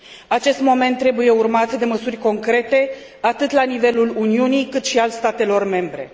Acest moment trebuie urmat de măsuri concrete, atât la nivelul Uniunii, cât și al statelor membre.